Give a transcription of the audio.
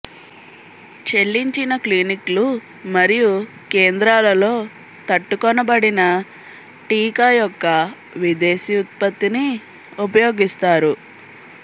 చెల్లించిన క్లినిక్లు మరియు కేంద్రాలలో తట్టుకొనబడిన టీకా యొక్క విదేశీ ఉత్పత్తిని ఉపయోగిస్తారు